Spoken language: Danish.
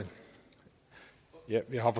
vi har